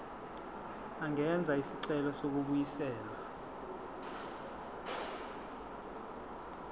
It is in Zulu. angenza isicelo sokubuyiselwa